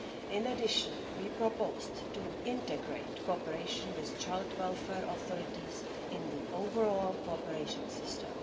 In addition, we proposed to integrate cooperation with child welfare authorities in the overall cooperation system.